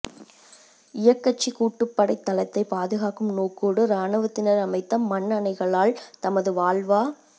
இயக்கச்சி கூட்டுப்படைத் தளத்தைப் பாதுகாக்கும் நோக்கோடு இராணுவத்தினர் அமைத்த மண் அணைகளால் தமது வாழ்வா